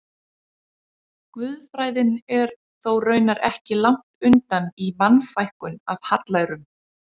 Guðfræðin er þó raunar ekki langt undan í Mannfækkun af hallærum.